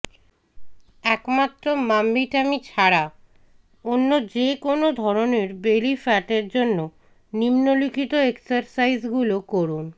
একমাত্র mummy tummy ছাড়া অন্য যে কোনও ধরনের বেলি ফ্যাটের জন্য নিম্নলিখিত এক্সারসাইজগুলো করুন